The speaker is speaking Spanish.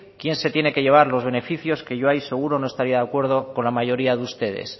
quién se tiene que llevar los beneficios que yo ahí seguro no estaría de acuerdo con la mayoría de ustedes